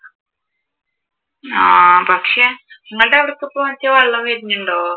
ആഹ് പക്ഷെ നിങ്ങളുടെ അവിടെ ഒക്കെ ഇപ്പോൾ മറ്റേ വള്ളം വരുന്നുണ്ടോ?